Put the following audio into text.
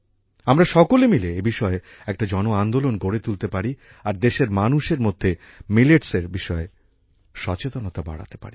আমরা সকলে মিলে এ বিষয়ে একটা জনআন্দোলন গড়ে তুলতে পারি আর দেশের মানুষের মধ্যে মিলেটসের বিষয়ে সচেতনতা বাড়াতে পারি